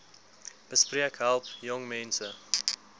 besp help jongmense